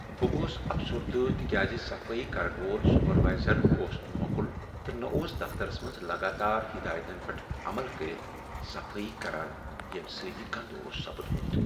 بہٕ گوس افسردٕ تکیاز صفٲیی کرن وول سپروایزر اوس نہٕ مۄکُل تہ نہ اوس دفترس منٛز لگاتار ہدایتن پیٹھ عمل کٔرتھ صفٲیی کران ییٚمہ سۭتۍ یہ گندٕ اوس سپدمت۔